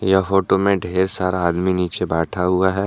यह फोटो में ढेर सारा आदमी नीचे बैठा हुआ है।